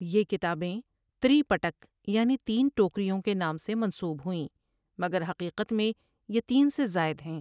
یہ کتابیں تری پٹک یعنی تین ٹوکریوں کے نام سے منسوب ہوئیں مگر حقیقت میں یہ تین سے زائد ہیں۔